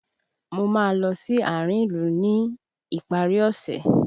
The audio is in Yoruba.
Mo máa ń lọ sí àárín ìlú ní ìparí ọ̀ṣẹ̀